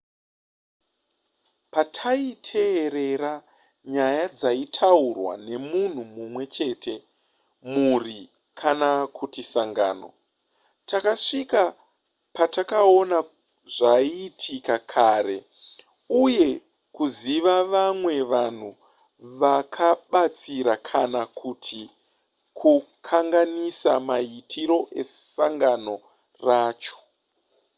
pataiteerera nyaya dzaitaurwa nemunhu mumwe chete mhuri kana kuti sangano takasvika pakuona zvaiitika kare uye kuziva vamwe vanhu vakabatsira kana kuti kukanganisa maitiro esangano racho